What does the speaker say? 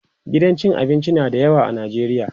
gidan cin abinci na da yawa a Najeriya